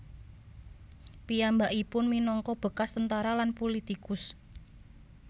Piyambakipun minangka bekas tentara lan pulitikus